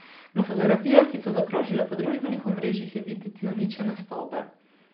Na fotografijah, ki so zaokrožile po družbenih omrežjih, je videti uničene stavbe.